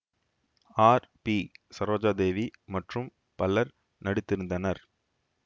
R B Saroja Devi மற்றும் பலரும் நடித்திருந்தனர்